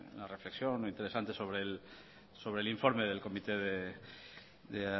y una reflexión interesante sobre el informe del comité de